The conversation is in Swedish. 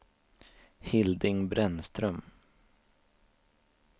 Hilding Brännström